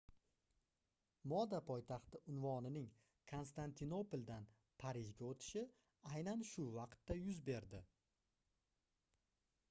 moda poytaxti unvonining konstantinopoldan parijga oʻtishi aynan shu vaqtda yuz berdi